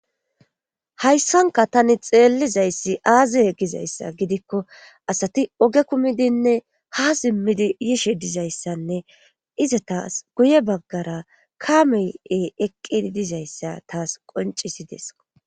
Hayssanka tani xeellizayssi aazi yegizayssa gidikko asati oge kumidinne ha simmidi yishe dizayssanne iza taas guye baggara kamey7e eqqi dizayssa taas qoncisideso